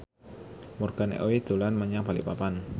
Morgan Oey dolan menyang Balikpapan